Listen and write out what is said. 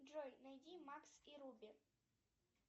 джой найди макс и руби